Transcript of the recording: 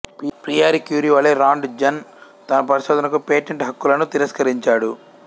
Pierre Curie వలే Roentgen తన పరిశోధనకు పేటెంట్ హక్కులను తిరస్కరించాడు